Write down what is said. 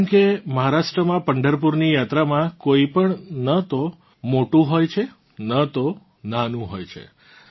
જેમ કે મહારાષ્ટ્રમાં પંઢરપુરની યાત્રામાં કોઇ પણ ન તો મોટું હોય છે ન તો નાનું હોય છે